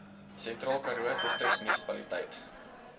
sentraal karoo distriksmunisipaliteit